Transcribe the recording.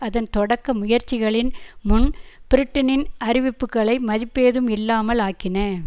அதன் தொடக்க முயற்சிகளின் முன் பிரிட்டனின் அறிவிப்புக்களை மதிப்பேதும் இல்லாமல் ஆக்கின